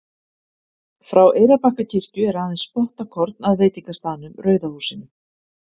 frá eyrarbakkakirkju er aðeins spottakorn að veitingastaðnum rauða húsinu